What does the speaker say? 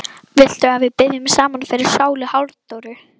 Viltu að við biðjum saman fyrir sálu Halldóru?